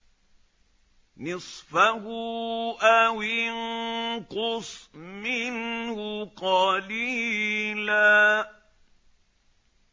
نِّصْفَهُ أَوِ انقُصْ مِنْهُ قَلِيلًا